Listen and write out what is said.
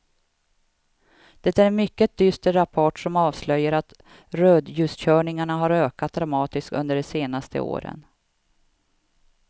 Det är en mycket dyster rapport som avslöjar att rödljuskörningarna har ökat dramatiskt under de senaste åren.